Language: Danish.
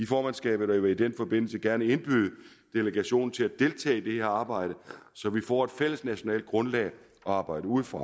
formandskabet jeg vil i den forbindelse gerne indbyde delegationen til at deltage i arbejde så vi får et fælles nationalt grundlag at arbejde ud fra